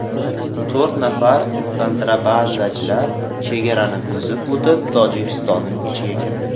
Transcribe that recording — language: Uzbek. To‘rt nafar kontrabandachi chegarani buzib o‘tib, Tojikistonning ichiga kirdi.